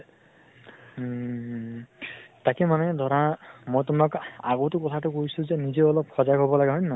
উম উম উম । তাকে মানে ধৰা মই তোমাক আগতো কথা তো কৈছো যে, নিজেও অলপ সজাগ হʼব লাগে । হয় ন হয় ?